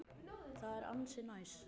Það er ansi næs.